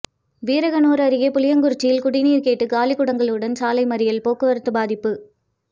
வீரகனூர் அருகே புளியங்குறிச்சியில் குடிநீர் கேட்டு காலிகுடங்களுடன் சாலை மறியல் போக்குவரத்து பாதிப்பு